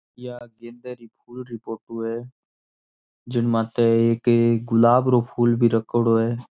ये गेंदे के फूल की फोटो है जिनमाते एक गुलाब रो फूल भी राखोडो है।